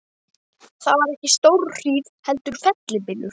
Það var ekki stórhríð heldur fellibylur.